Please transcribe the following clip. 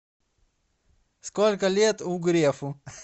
сколько лет у грефу